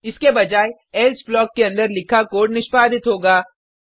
इसके बजाय else block के अंदर लिखा कोड निष्पादित होगा